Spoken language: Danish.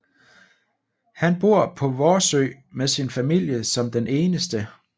Han bor på Vorsø med sin familie som den eneste